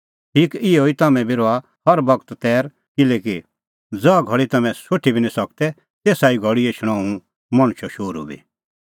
ठीक इहअ ई तम्हैं बी रहा हर बगत तैर किल्हैकि ज़हा घल़ी तम्हैं सोठी बी निं सकदै तेसा ई घल़ी एछणअ हुंह मणछो शोहरू बी